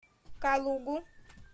калугу